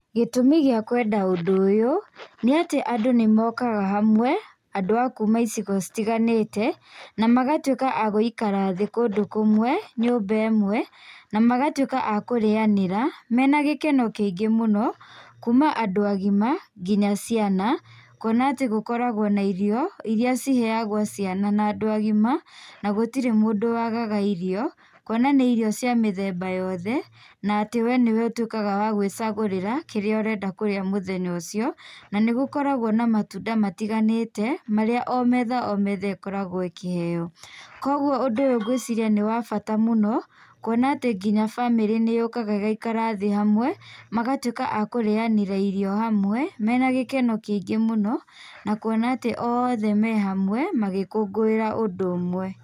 Gĩtũmi gĩa kwenda ũndũ ũyũ, nĩ atĩ andũ nĩ mokaga hamwe, andũ akuma icigo citiganĩte, na magatuĩka a gũikara thĩ kũndũ kũmwe, nyũmba ĩmwe, na magatũĩka a kũrĩanĩra mena gĩkeno kĩingĩ mũno, kuma andũ agima nginya ciana, kuona atĩ gũkoragwo na irio, iria ciheagwo ciana na andũ agima na gũtirĩ mũndũ wagaga irio, kuona nĩ irio cia mĩthemba yothe na atĩ we nĩ we ũtuĩkaga wa gũĩcagũrĩra kĩrĩa ũrenda kũrĩa mũthenya ũcio, na nĩ gũkoragwo na matunda matiganĩte, marĩa o metha o metha ĩkoragwo ĩkĩheo. Kogũo ũndũ ũyũ ngũĩciria nĩ wa bata mũno kuona atĩ nginya bamĩrĩ nĩ yũkaga ĩgaikara thĩ hamwe magatwĩka akũrĩanĩra irio hamwe mena gĩkeno kĩingĩ mũno, na kuona atĩ oothe me hamwe magĩkũngũĩra ũndũ ũmwe.